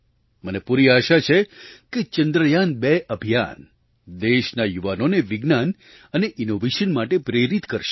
મને પૂરી આશા છે કે ચંદ્રયાન2 અભિયાન દેશના યુવાઓને વિજ્ઞાન અને ઇનોવેશન માટે પ્રેરિત કરશે